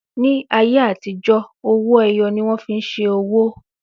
Ní ayé àtijó, ọwọ́ ẹyọ ni wón fi ń ṣe owó